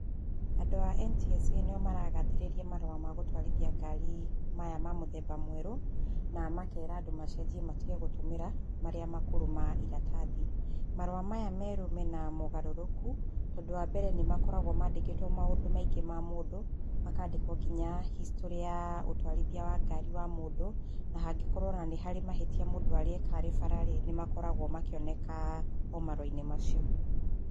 Andũ a NTSA nĩo maragathĩrĩria marũa ma gũtwarithia ngari maya ma mũthemba mwerũ na makera andũ macenjie matige gũtũmĩra marĩa makũrũ ma iratathi. Marũa maya merũ me na mogarũrũku tondũ wa mbere nĩ makoragwo mandĩkĩtwo maũndũ maingĩ ma mũndũ, makandĩkwo nginya hicitorĩ ya ũtwarithia wa ngari wa mũndũ o na hangĩkorwo nĩ harĩ mahĩtia arĩ eka e bara-rĩ nĩ makoragwo o makĩoneka o marũa-inĩ macio.